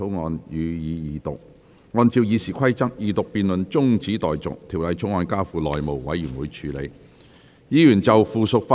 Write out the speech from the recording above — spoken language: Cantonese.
按照《議事規則》，二讀辯論中止待續，《條例草案》交付內務委員會處理。